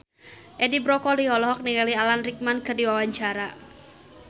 Edi Brokoli olohok ningali Alan Rickman keur diwawancara